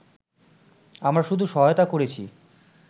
আমরা শুধু সহায়তা করেছি